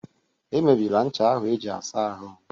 Emebịla ncha ahụ eji-asa ahụ